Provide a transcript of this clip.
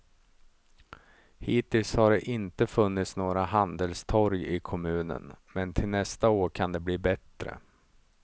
Hittills har det inte funnits några handelstorg i kommunen, men till nästa år kan det bli bättre.